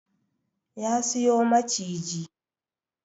Ya siyo maciji